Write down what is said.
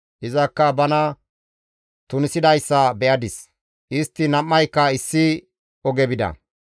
Izakka bana tunisidayssa be7adis; istti nam7ayka issi oge bida.